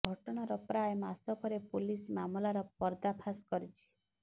ଘଟଣାର ପ୍ରାୟ ମାସେ ପରେ ପୋଲିସ ମାମଲାର ପର୍ଦ୍ଦାଫାସ କରିଛି